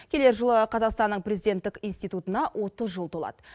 келер жылы қазақстанның президенттік институтына отыз жыл толады